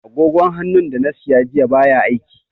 Agogon hannun da na siya jiya baya aiki.